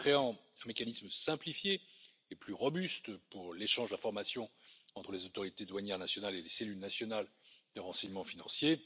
en créant un mécanisme simplifié et plus robuste pour l'échange d'informations entre les autorités douanières nationales et les cellules nationales de renseignement financier